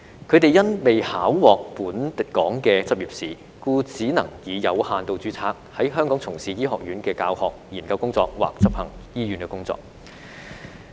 他們因未考獲本港的執業試，只能以有限度註冊在香港從事醫學院教學、研究工作或執行醫院工作。